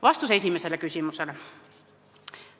Vastus esimesele küsimusele.